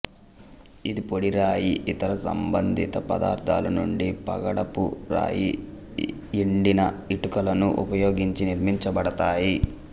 ఇది పొడి రాయి ఇతర సంబంధిత పదార్థాల నుండి పగడపు రాయి ఎండిన ఇటుకలను ఉపయోగించి నిర్మించబడ్డాయి